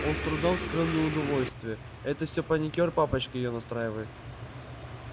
он с трудом скрыл неудовольствие это всё паникёр папочка её настраивает